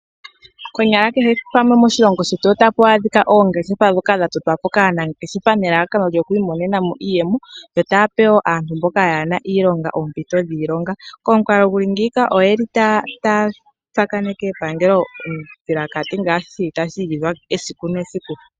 Konyala kehe pamwe moshilongo shetu otapu adhika oongeshefa ndhoka dha totwa po kaanangeshefa nelalakano lyokuimonena mo iiyemo yo taya pe wo aantu mboka kaaye na iilonga oompito dhiilonga. Momukalo gu li ngeyika otaya tsakaneke epangelo ondjilakati ngaashi tashi igidhwa esiku nesiku.